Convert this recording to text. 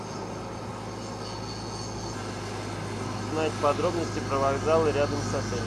узнать подробности про вокзалы рядом с отелем